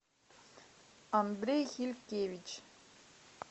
андрей хилькевич